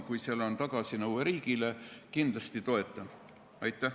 Kui on olemas tagasinõue riigile, siis ma kindlasti toetan seda.